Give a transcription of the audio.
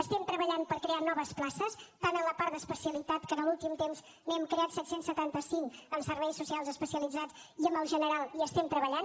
estem treballant per crear noves places tant a la part d’especialitat que en l’últim temps n’hem creat set cents i setanta cinc amb serveis socials especialitzats i amb el general hi estem treballant